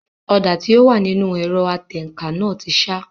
Ọ̀dà tí ó wà nínú ẹ̀rọ atẹǹkan náà ti sá